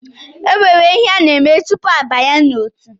E nwere ihe a na-eme tupu abanye n’otu